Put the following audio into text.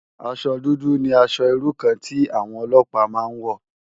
Aṣò dùdù ni ãṣò irú kàn ti áwòn òlòpá má n wò